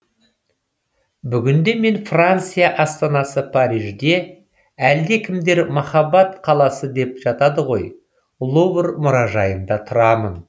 бүгінде мен франция астанасы парижде әлдекімдер махаббат қаласы деп жатады ғой лувр мұражайында тұрамын